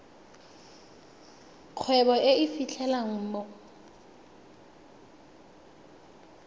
kgwebo e e fitlhelwang mo